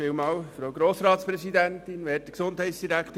Kommissionspräsident der GSoK.